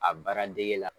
A baara dege la